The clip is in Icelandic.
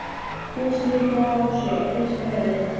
Bjössi lítur á Ásu og hristir höfuðið.